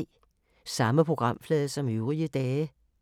Samme programflade som øvrige dage